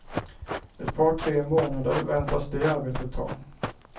Ett par tre månader väntas det arbetet ta.